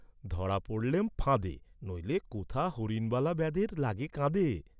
ধরা পড়লেম ফাঁদে, নইলে কোথা হরিণবালা ব্যাধের লাগি কাঁদে?